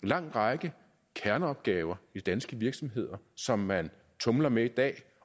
lang række kerneopgaver i danske virksomheder som man tumler med i dag